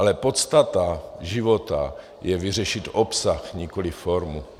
Ale podstata života je vyřešit obsah, nikoli formu.